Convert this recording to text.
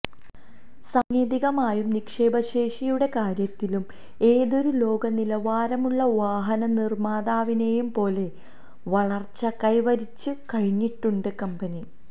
സാങ്കേതികമായും നിക്ഷേപശേഷിയുടെ കാര്യത്തിലും ഏതൊരു ലോകനിലവാരമുള്ള വാഹനനിർമാതാവിനെയും പോലെ വളർച്ച കൈവരിച്ചു കഴിഞ്ഞിട്ടുണ്ട് കമ്പനി